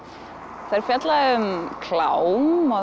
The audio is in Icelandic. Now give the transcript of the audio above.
þær fjalla um klám og